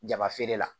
Jaba feere la